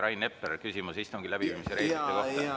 Rain Epler, küsimus istungi läbiviimise reeglite kohta.